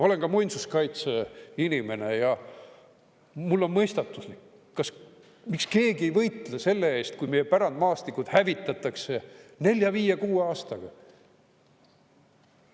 Olen ka muinsuskaitseinimene ja mulle on mõistatuslik, miks keegi ei võitle selle eest, kui meie pärandmaastikud hävitatakse nelja-viie-kuue aastaga.